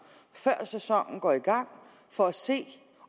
før sæsonen går i gang for at se